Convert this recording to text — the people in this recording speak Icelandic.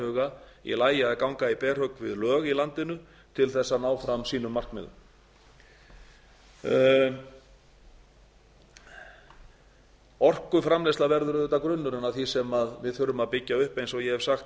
huga í lagi að ganga í berhögg við lög í landinu til að ná fram sínum markmiðum orkuframleiðsla verður auðvitað grunnurinn að því sem við þurfum að byggja upp eins og ég hef sagt